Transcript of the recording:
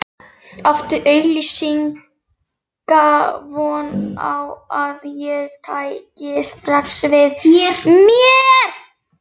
Átti augsýnilega von á að ég tæki strax við mér.